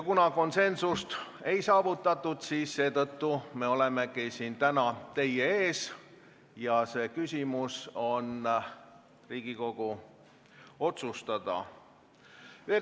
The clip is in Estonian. Kuna konsensust ei saavutatud, me olemegi täna teie ees ja see küsimus on Riigikogu otsustada.